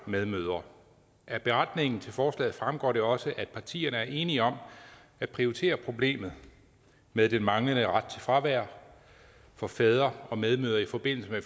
og medmødre af beretningen til forslaget fremgår det også at partierne er enige om at prioritere problemet med den manglende ret til fravær for fædre og medmødre i forbindelse med